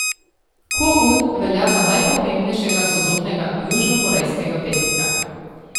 Ko Un velja za najpomembnejšega sodobnega južnokorejskega pesnika.